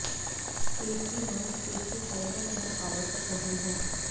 पेट की मांसपेशी फाइबर भंग आवश्यक नहीं है